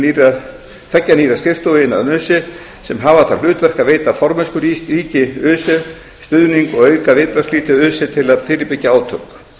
með tilurð tveggja nýrra skrifstofa innan öse sem hafa það hlutverk að veita formennskuríki öse stuðning og að auka viðbragðsflýti öse til að fyrirbyggja átök